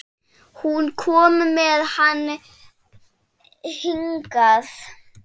Hún kom með hann hingað.